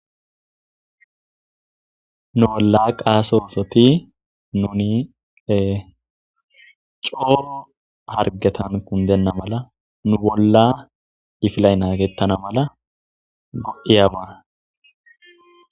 Nu bola qaso nosoti nuni coo hargetani kundena mala nu bolla kifiley nagetana mala go'iyaba.